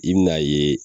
I bɛn'a ye